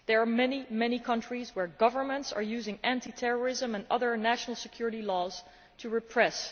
There are many countries where governments are using anti terrorism and other national security laws to repress.